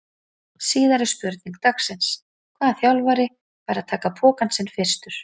Síðari spurning dagsins: Hvaða þjálfari fær að taka pokann sinn fyrstur?